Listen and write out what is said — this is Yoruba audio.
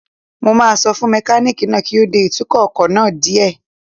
Mo máa sọ fún mẹkánìkì náà kí ó dẹ ìtukọ̀ ọkọ̀ náà díẹ̀